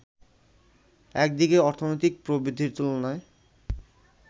একদিকে অর্থনৈতিক প্রবৃদ্ধির তুলনায়